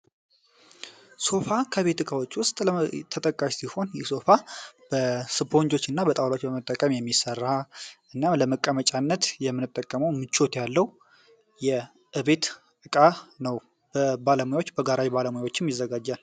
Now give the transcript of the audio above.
Sofa ተጠቃሽ ሲሆን የሶፋውንቶች እና በጣም መጠቀም የሚሰራ እና ለመቀመጫነት የጠቀመው ምቾት ያለው ዕቃ ነው ባለሙያዎች በጋራ ባለሙያዎችን ይዘጋጃል